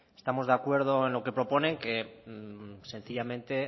estamos de acuerdo en lo que proponen que sencillamente